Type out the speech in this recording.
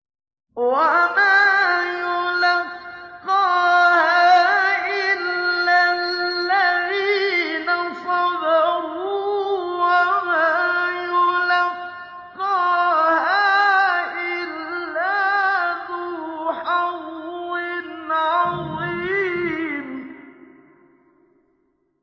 وَمَا يُلَقَّاهَا إِلَّا الَّذِينَ صَبَرُوا وَمَا يُلَقَّاهَا إِلَّا ذُو حَظٍّ عَظِيمٍ